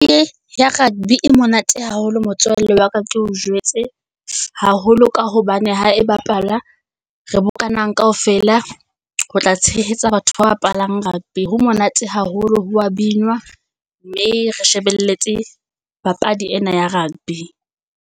ya rugby e monate haholo motswalle wa ka ke o jwetse, haholo ka hobane ha e bapala, re bokana kaofela ho tla tshehetsa batho ba bapalang rugby. Ho monate haholo ho wa binwa, mme re shebeletse papadi ena ya rugby.